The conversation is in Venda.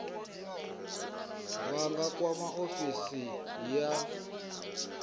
vha nga kwama ofisi ya